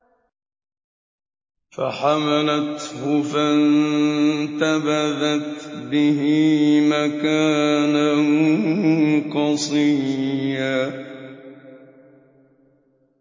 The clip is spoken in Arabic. ۞ فَحَمَلَتْهُ فَانتَبَذَتْ بِهِ مَكَانًا قَصِيًّا